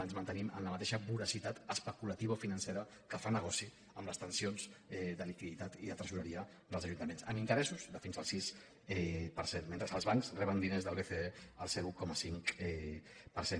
ens mantenim amb la ma·teixa voracitat especulativa i financera que fa negoci amb les tensions de liquiditat i de tresoreria dels ajun·taments amb interessos de fins al sis per cent mentre que els bancs reben diners del bce al zero coma cinc per cent